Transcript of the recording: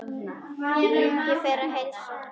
Ég fer til að heilsa.